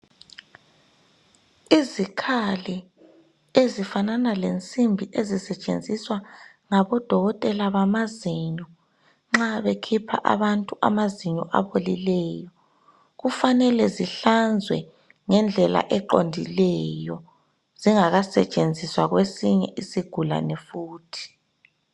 Izikhali ezifanana lensimbi ezisetshenziswa ngabodokotela bamazinyo nxa bekhipha abantu amazinyo abolileyo kufanele zihlanzwe ngendlela eqondileyo zingaka setshenziswa kwesinye isigulane futhi.